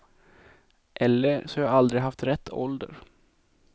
Eller så har jag aldrig haft rätt ålder.